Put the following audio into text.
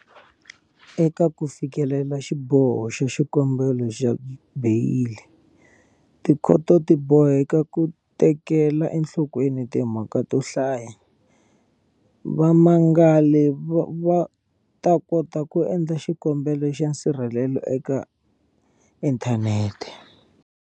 Eka ku fikelela xiboho xa xikombelo xa beyili, tikhoto ti boheka ku tekela enhlokweni timhaka to hlaya. Vamangali va ta kota ku endla xikombelo xa nsirhelelo eka inthanete.